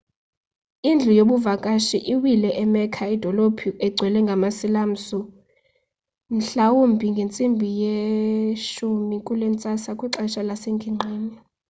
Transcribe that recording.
indlu yabavakashi iwile e-mecca idolophu engcwele yama-silamusi mhlawumbi ngentsimbi yesi-10 kulentsasa kwixesha lasengingqini